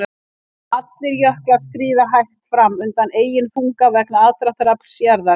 Allir jöklar skríða hægt fram undan eigin þunga vegna aðdráttarafls jarðar.